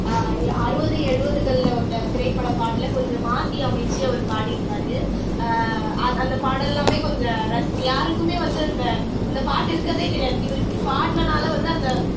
அஹ் அறுவது எழுவதுகள்ல வந்த திரைப்பட பாடலை கொஞ்சம் மாத்தி அமைச்சு அவர் பாடியிருப்பாரு அஹ் அந்த பாடல் எல்லாமே கொஞ்சம் ரா யாருக்குமே வந்து இந்த அந்த பாட்டு இருக்கறதே தெரியாது இவரு இப்படி பாடுனனால வந்து அந்த